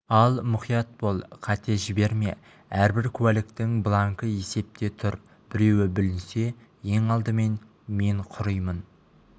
ал мұқият бол қате жіберме әрбір куәліктің бланкі есепте тұр біреуі бүлінсе ең алдымен мен құримын